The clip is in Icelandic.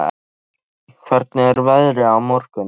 Bassí, hvernig er veðrið á morgun?